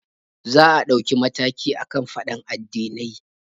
Za a ɗauki mataki akan faɗan addinai